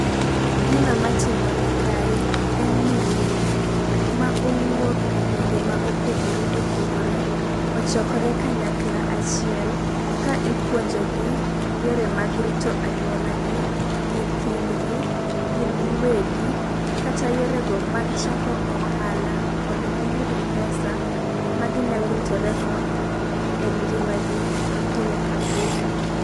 Gino matimore kae en ni mine ma owuok e gwenge ma opogore opogore ochokore kanyakla achiel ka ipuonjo gi yore mag rito anyuola gi, nyithindgi , gin giwegi kata yore go mag chako ohala mondo giyud pesa ma ginyalo ritore go engima gi ma pile ka pile.